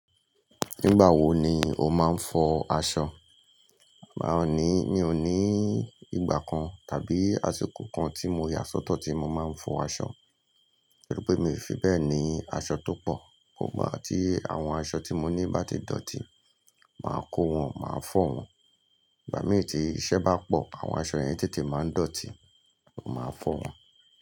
Nígbà wo ni o máa ń fọ aṣọ À aa ní, mi ò ní ìgbà kan tàbí àsìkò kan tí mo yà sọ́tọ̀ tí mo máa ń fọ aṣọ. Nítorí pé mi ò fi bẹ́ẹ̀ ni aṣọ tó pọ̀. Igba tí àwọn aṣọ tí mo ní bá ti dọ̀tí, màá kó wọn, màá fọ̀ wọ́n. Ìgbà mí tí iṣẹ́ bá pọ̀, àwọn aṣọ yẹn tètè máa ń dọ̀tí, mo máa fọ̀ wọ́n.